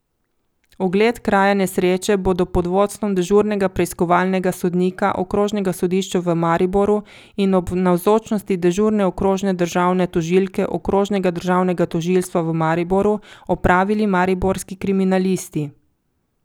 Ogled kraja nesreče bodo pod vodstvom dežurnega preiskovalnega sodnika okrožnega sodišča v Mariboru in ob navzočnosti dežurne okrožne državne tožilke okrožnega državnega tožilstva v Mariboru opravili mariborski kriminalisti.